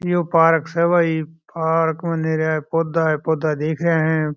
यो park स भाई park म नीरा पौधा ही पौधा दिख रहा है।